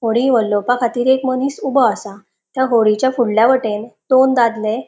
होडी वल्लोपाखातीर एक मनिस ऊबो आसा त्या होडीच्या फुडल्या वटेन दोन दादले --